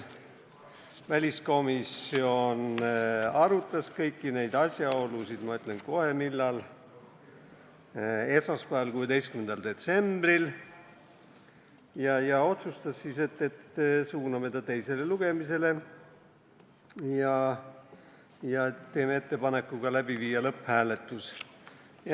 Väliskomisjon arutas kõiki neid asjaolusid – ma ütlen kohe, millal – esmaspäeval, 16. detsembril, ja otsustas, et suuname eelnõu teisele lugemisele ja teeme ettepaneku viia läbi ka lõpphääletus.